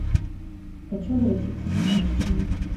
хочу обратиться в прачечную